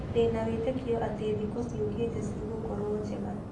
Ndĩna wĩtĩkio atĩ thikũ ciũkĩte cigũkorwo njega.